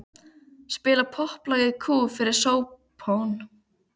Spila popplag í kú fyrir spóann.